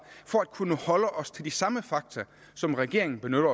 for at kunne holde os til de samme fakta som regeringen benytter